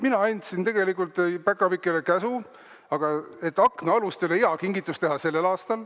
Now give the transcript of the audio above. Mina andsin tegelikult päkapikkudele käsu aknaalustele hea kingitus teha sellel aastal.